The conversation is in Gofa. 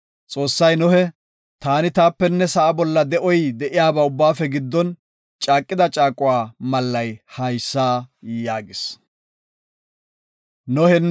Xoossay Nohe, “Taani taapenne sa7a bolla de7oy de7iyaba ubbaafe giddon caaqida caaquwa mallay haysa” yaagis.